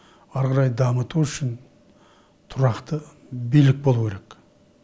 ары қарай дамыту үшін тұрақты билік болуы керек